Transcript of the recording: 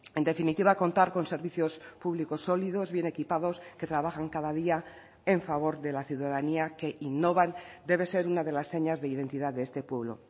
en definitiva contar con servicios públicos sólidos bien equipados que trabajan cada día en favor de la ciudadanía que innovan debe ser una de las señas de identidad de este pueblo